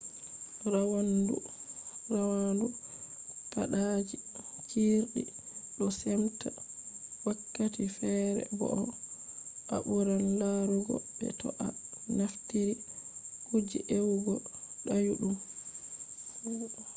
rawandu paadaaji cirɗi ɗo semtaa wakkati feere bo'o a ɓuran larugo be to a naftiri kuje ewugo dayuɗum